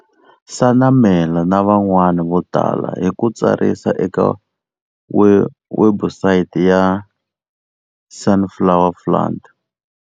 Senamela na van'wana vo tala hi ku tsarisa eka webusayiti ya Sunflower Fund.